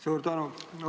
Suur tänu!